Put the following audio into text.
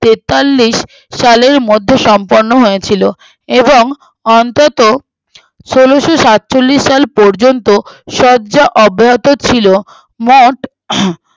তেতাল্লিশ সালের মধ্যে সম্পূর্ণ হয়েছিল এবং অনন্তত ষোলোসাতচল্লিস সাল পর্যন্ত শয্যা অব্যবহৃত ছিল মঠ